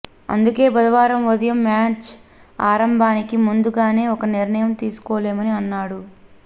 అందుకే బుధవారం ఉదయం మ్యాచ్ ఆరంభానికి ముందుగానీ ఒక నిర్ణయం తీసుకోలేమని అన్నాడు